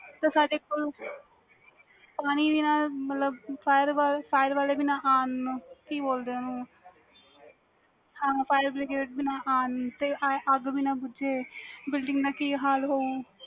ਤੇ ਸਾਡੇ ਕੋਲ ਪਾਣੀ ਵੀ ਨਾ ਤੇ ਮਤਲਬ fire ਵਾਲੇ ਵੀ ਨਾ ਆਉਣ ਤੇ ਕੇ ਬੋਲਦੇ ਓਨੂੰ firebrigde ਤੇ ਅੱਗ ਵੇ ਨਾ ਬੁਜੇ building ਦਾ ਕੇ ਹਾਲ ਹਉ